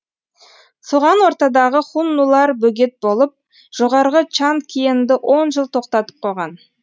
соған ортадағы хуннулар бөгет болып жоғарғы чан киенді он жыл тоқтатып қойған